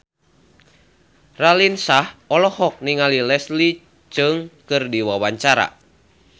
Raline Shah olohok ningali Leslie Cheung keur diwawancara